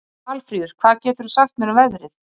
Valfríður, hvað geturðu sagt mér um veðrið?